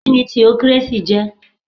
Kíni theocracy jẹ̀?